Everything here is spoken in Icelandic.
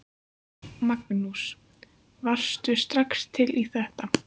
Magnús: Varðstu strax til í þetta?